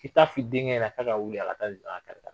K'i ta f'i denkɛ ɲɛnɛ k'a ka wuli a ka taa zira kari